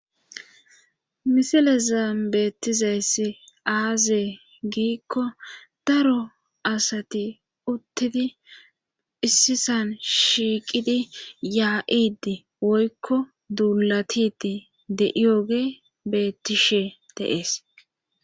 misile zam beettizayss aazee giikko daro asati uttidi issisan shiiqidi yaa7idi woykko duulatiti de7iyoge bettishe de7ees